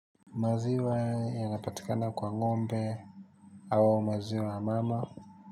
Maziwa yanapatikana kwa ngombe au maziwa mama.